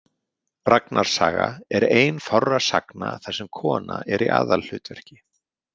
Ragnars saga er ein fárra sagna þar sem kona er í aðalhlutverki.